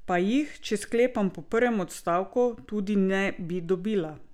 Pa jih, če sklepam po prvem odstavku, tudi ne bi dobila.